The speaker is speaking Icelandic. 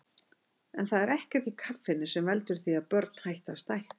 En það er ekkert í kaffinu sem veldur því að börn hætti að stækka.